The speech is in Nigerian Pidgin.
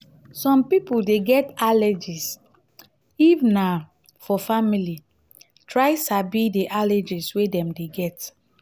some pipo dey get allergies if na for family try sabi do allergies wey dem dey get